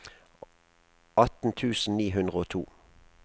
atten tusen ni hundre og to